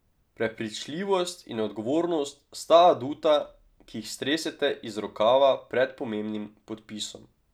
Prepričljivost in odgovornost sta aduta, ki jih stresete iz rokava pred pomembnim podpisom.